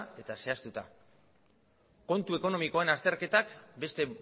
eta zehaztuta kontu ekonomikoan azterketak beste